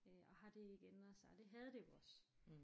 Og har det ikke ændret sig og det havde det jo også